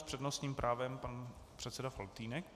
S přednostním právem pan předseda Faltýnek.